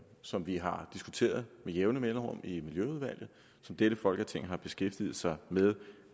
som vi har diskuteret med jævne mellemrum i miljøudvalget og som dette folketing har beskæftiget sig med ad